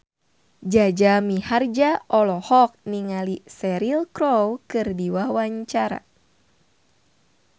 Jaja Mihardja olohok ningali Cheryl Crow keur diwawancara